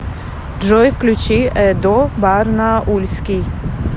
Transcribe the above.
джой включи эдо барнаульский